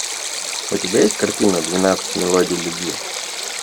у тебя есть картина двенадцать мелодий любви